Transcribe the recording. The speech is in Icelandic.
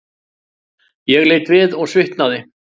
Ég leit við og svitnaði.